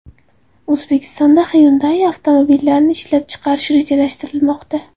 O‘zbekistonda Hyundai avtomobillarini ishlab chiqarish rejalashtirilmoqda.